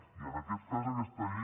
i en aquest cas aquesta llei